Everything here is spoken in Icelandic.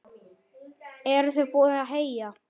Eruð þið búin að heyja?